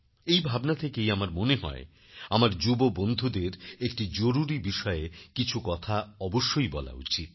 এই ভাবনা থেকেই আমার মনে হয় আমার যুব বন্ধুদের একটি জরুরী বিষয়ে কিছু কথা অবশ্যই বলা উচিত